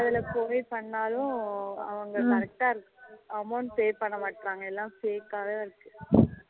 அதுல provide பன்னூனாலும் அவங்க correct இருக்கு amount pay பண்ண மாட்ராங்க எல்லாம் fake வச்சிருக்கு